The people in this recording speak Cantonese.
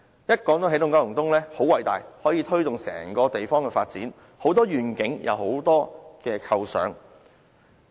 起動九龍東說得很偉大，說可以推動整個地方的發展，很多願景和很多構想。